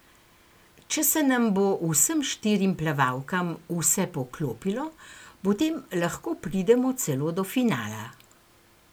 Če se nam bo vsem štirim plavalkam vse poklopilo, potem lahko pridemo celo do finala.